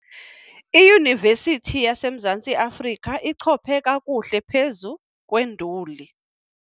Iyunivesithi yaseMzantsi Afrika ichophe kakuhle phezu kwenduli.